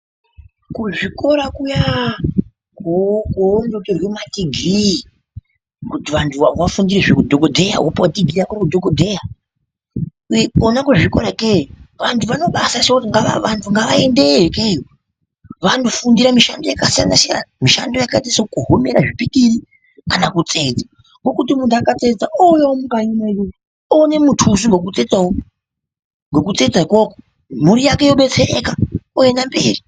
Kuzvikora kuyaaaa! koondotorwe madhigirii kuti vanhu vafundire zveudhokodheya ,kona kuzvikora ikeyo vantu vanobati vanhu ngavaendeyo ikeyo vandofundira mishando yakasiyanasiyana mishando yakaita ekukohomera zvipikiri kana kutsetsa ngokuti munhu akatsetsa ouya mukanyi medu oone mutuso wokutsetsawo ngokutsetsa ukoko mhuri yake yobetsereka oenda mberi.